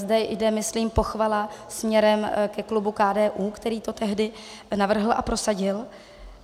Zde jde myslím pochvala směrem ke klubu KDU, který to tehdy navrhl a prosadil.